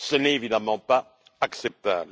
Ce n'est évidemment pas acceptable.